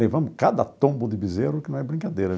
Levamos cada tombo de bezerro, que não é brincadeira.